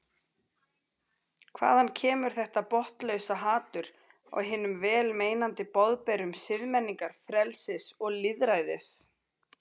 Hvaðan kemur þetta botnlausa hatur á hinum vel meinandi boðberum siðmenningar, frelsis og lýðræðis?